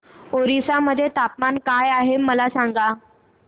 ओरिसा मध्ये तापमान काय आहे मला सांगा